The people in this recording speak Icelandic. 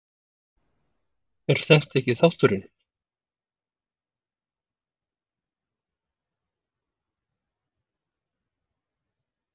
er þetta ekki þátturinn?